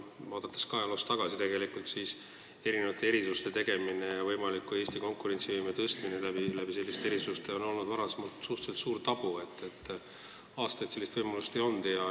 Vaadates ajaloos tagasi, me näeme, et erisuste tegemine ja seeläbi Eesti konkurentsivõime tõstmine on olnud varem suhteliselt suur tabu, aastaid sellist võimalust ei olnud.